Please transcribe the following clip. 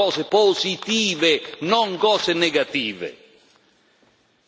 I cittadini vogliono cose positive, non cose negative.